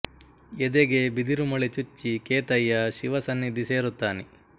ಎದೆಗೆ ಬಿದಿರು ಮೊಳೆ ಚುಚ್ಚಿ ಕೇತಯ್ಯ ಶಿವ ಸನ್ನಿಧಿ ಸೇರುತ್ತಾನೆ